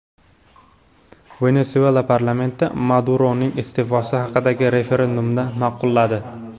Venesuela parlamenti Maduroning iste’fosi haqidagi referendumni ma’qulladi.